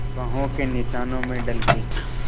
बाहों के निशानों में ढल के